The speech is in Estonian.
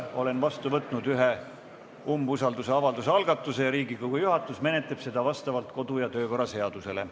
Olen vastu võtnud ühe umbusaldusavalduse algatuse ja Riigikogu juhatus menetleb seda vastavalt kodu- ja töökorra seadusele.